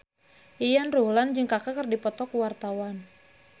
Yayan Ruhlan jeung Kaka keur dipoto ku wartawan